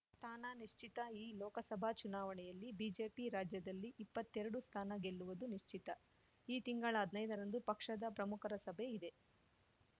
ತ್ತಾನ ನಿಶ್ಚಿತ ಈ ಲೋಕಸಭಾ ಚುನಾವಣೆಯಲ್ಲಿ ಬಿಜೆಪಿ ರಾಜ್ಯದಲ್ಲಿ ಇಪ್ಪತ್ತೆರಡು ಸ್ಥಾನ ಗೆಲ್ಲುವುದು ನಿಶ್ಚಿತ ಈ ತಿಂಗಳ ಹದ್ನೈದರಂದು ಪಕ್ಷದ ಪ್ರಮುಖರ ಸಭೆ ಇದೆ